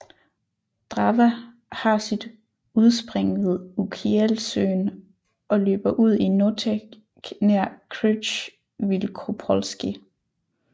Drawa har sit udspring ved Ukielsøen og løber ud i Noteć nær Krzyż Wielkopolski